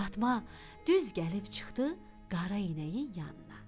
Fatma düz gəlib çıxdı qara inəyin yanına.